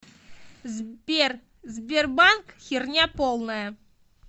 сбер сбербанк херня полная